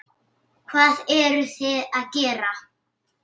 Hvað eruði að gera?